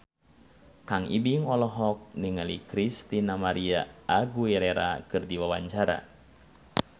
Kang Ibing olohok ningali Christina María Aguilera keur diwawancara